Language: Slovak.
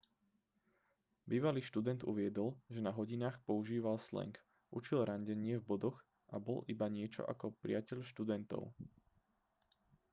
bývalý študent uviedol že na hodinách používal slang učil randenie v bodoch a bol iba niečo ako priateľ študentov